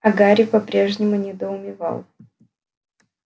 а гарри по-прежнему недоумевал